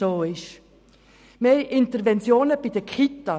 Wir sprechen über Interventionen bei den Kitas.